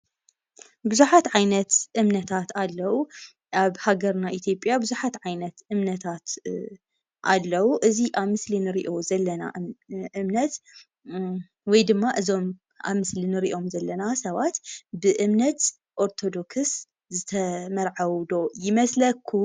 ብዙሓት ዓይነት እምነታት ኣለው። ኣብ ሃገርና ኢትዮጰያ ብዙሓት እምነታት ኣለው። እዚ ኣብ ምስሊ እንሪኦ ዘለና እምነት ወይ ድማ እዞም ኣብ ምስሊ እንሪኦም ዘለና ሰባት ብእምነት ኦርቶዶክስ ዝተመርዐዉ ዶ ይመስለኹም?